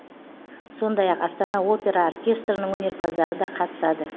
сондай ақ астана опера оркестрінің өнерпаздары да қатысады